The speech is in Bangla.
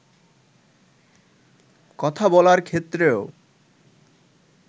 কথা বলার ক্ষেত্রেও